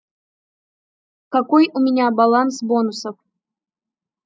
какой у меня баланс бонусов